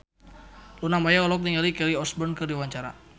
Luna Maya olohok ningali Kelly Osbourne keur diwawancara